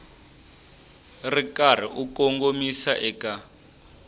ri karhi u kongomisa eka